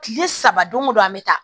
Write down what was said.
Kile saba don o don an bɛ taa